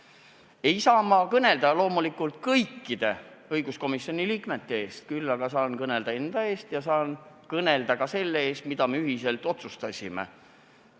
Ma ei saa kõnelda loomulikult kõikide õiguskomisjoni liikmete eest, küll aga saan kõnelda enda eest ja saan öelda ka, mida me ühiselt otsustasime.